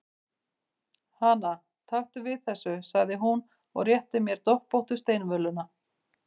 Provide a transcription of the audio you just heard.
Hana, taktu við þessu, sagði hún og rétti mér doppóttu steinvöluna.